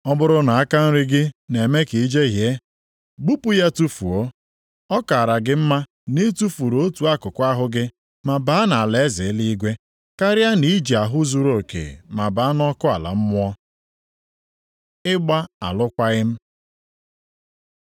Ọ bụrụ na aka nri gị na-eme ka i jehie, gbupụ ya tufuo. Ọ kaara gị mma na i tufuru otu akụkụ ahụ gị ma baa nʼalaeze eluigwe, karịa na i ji ahụ zuruoke ma baa nʼọkụ ala mmụọ. Ịgba alụkwaghị m